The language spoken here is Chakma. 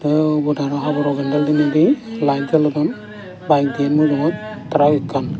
te ubot araw haboro pendel dineidi lite jolodon byk diyen mujungot trac ekkan.